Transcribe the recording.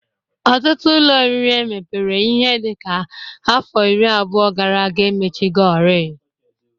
Ọtụtụ ụlọ oriri emepere ihe dịka afọ iri abụọ gara aga emechigori